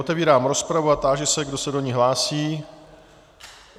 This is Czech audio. Otevírám rozpravu a táži se, kdo se do ní hlásí.